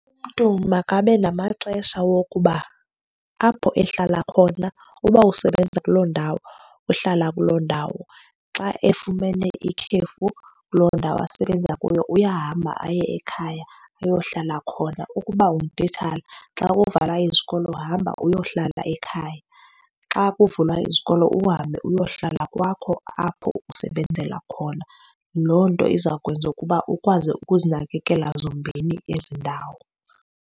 Umntu makabe namaxesha wokuba apho ehlala khona uba usebenza kuloo ndawo, uhlala kuloo ndawo, xa efumene ikhefu kuloo ndawo asebenza kuyo uyahamba aye ekhaya ayohlala khona. Ukuba ungutitshala, xa uvala izikolo uhamba uyohlala ekhaya, xa kuvulwa izikolo uhambe uyohlala kwakho apho usebenzela khona. Loo nto iza kwenza ukuba ukwazi ukuzinakekela zombini ezi ndawo.